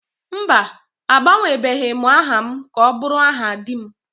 Mba, agbanwebeghị m aha m ka ọ bụrụ aha di m